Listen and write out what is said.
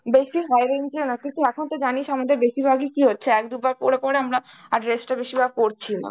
বেশি high range এও না. তুই তো এখন তো জানিস আমাদের বেশিরভাগই কি হচ্ছে এক দুবার পরে পরে আমরা আর dress টা বেশিরভাগ পরছিই না.